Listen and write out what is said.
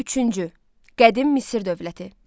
Üçüncü, Qədim Misir dövləti.